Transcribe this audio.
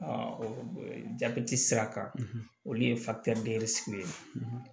jabɛti sira kan olu ye ye